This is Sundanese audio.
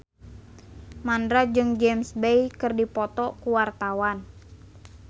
Mandra jeung James Bay keur dipoto ku wartawan